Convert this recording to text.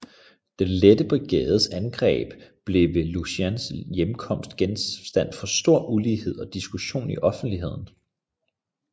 Den Lette Brigades angreb blev ved Lucans hjemkomst genstand for stor uenighed og diskussion i offentligheden